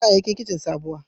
Za a yi kayayyakin kici sabuwa